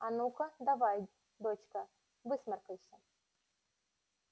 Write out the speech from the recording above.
а ну-ка давай дочка высморкайся